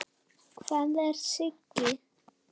Hvar er Siggi?